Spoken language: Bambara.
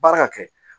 Baara ka kɛ